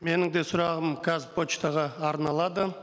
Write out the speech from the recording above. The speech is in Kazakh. менің де сұрағым қазпоштаға арналады